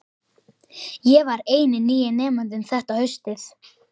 Ég var eini nýi nemandinn þetta haustið.